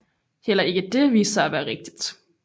Heller ikke det viste sig at være rigtigt